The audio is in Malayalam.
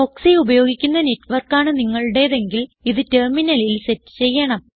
പ്രോക്സി ഉപയോഗിക്കുന്ന നെറ്റ് വർക്കാണ് നിങ്ങളുടേതെങ്കിൽ ഇത് ടെർമിനലിൽ സെറ്റ് ചെയ്യണം